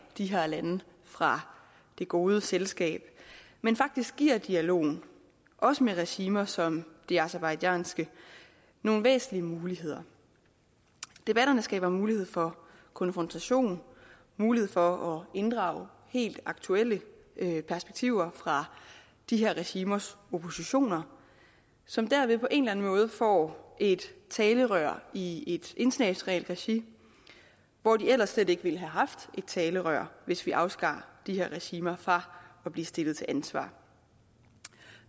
de her lande fra det gode selskab men faktisk giver dialogen også med regimer som det aserbajdsjanske nogle væsentlige muligheder debatterne skaber mulighed for konfrontation mulighed for at inddrage helt aktuelle perspektiver fra de her regimers oppositioner som derved på en eller anden måde får et talerør i et internationalt regi hvor de ellers slet ikke ville have haft et talerør hvis vi afskar de her regimer fra at blive stillet til ansvar